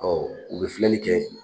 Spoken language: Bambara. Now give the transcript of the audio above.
Ɔ u bɛ filɛli kɛ